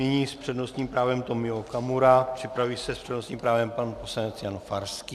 Nyní s přednostním právem Tomio Okamura, připraví se s přednostním právem pan poslanec Jan Farský.